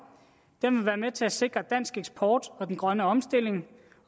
den vil være med til at sikre dansk eksport og den grønne omstilling